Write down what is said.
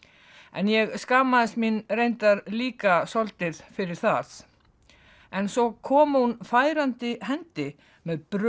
en ég skammaðist mín reyndar líka svolítið fyrir það en svo kom hún færandi hendi með brauð